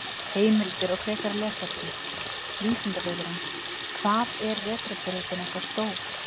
Heimildir og frekara lesefni: Vísindavefurinn: Hvað er vetrarbrautin okkar stór?